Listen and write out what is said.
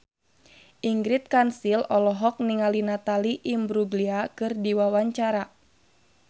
Ingrid Kansil olohok ningali Natalie Imbruglia keur diwawancara